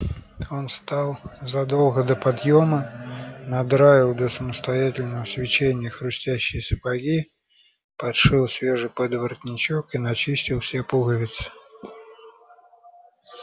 он встал задолго до подъёма надраил до самостоятельного свечения хрустящие сапоги подшил свежий подворотничок и начистил все пуговицы